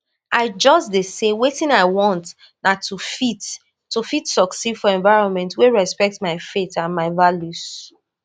i just dey say wetin i want na to fit to fit succeed for environment wey respect my faith and my values